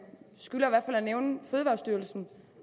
skylder at nævne fødevarestyrelsen